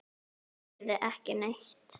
Ég heyrði ekki neitt.